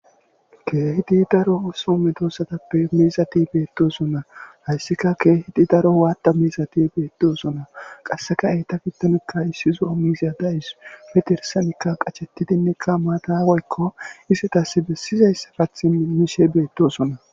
Kehidi daro so medosatppe mizati betodona haysika kehi daro wada mizati betosona qaseka eta gidonka issi zo'o dawus he dirsanika qashetidika mata woyko izetas besiza kathi mishe betosona